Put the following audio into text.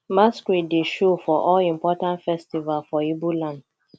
masqurade dey show for all important festival for ibo land